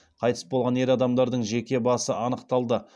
қайтыс болған ер адамдардың жеке басы анықталды